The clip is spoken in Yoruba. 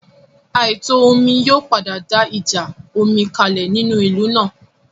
Àìtò omi yóò padà dá ìjà omi kalẹ̀ nínú ìlú náà